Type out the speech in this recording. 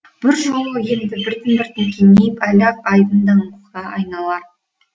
бұл жол енді біртін біртін кеңейіп әлі ақ айдын даңғылға айналар